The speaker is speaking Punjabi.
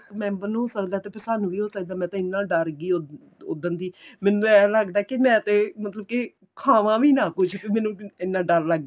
member ਨੂੰ ਹੋ ਸਕਦਾ ਤੇ ਸਾਨੂੰ ਵੀ ਹੋ ਸਕਦਾ ਮੈਂ ਤਾਂ ਇੰਨਾ ਡਰ ਗੀ ਉਦਨ ਦੀ ਮੈਨੂੰ ਤੇ ਏ ਲੱਗਦਾ ਵੀ ਮੈਂ ਤੇ ਮਤਲਬ ਕੀ ਖਾਵਾ ਵੀ ਨਾ ਕੁੱਝ ਮੈਨੂੰ ਇੰਨਾ ਡਰ ਲੱਗ